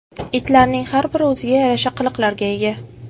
Itlarning har biri o‘ziga yarasha qiliqlarga ega.